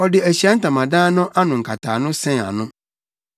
Ɔde Ahyiae Ntamadan no ano nkataano sɛn ano.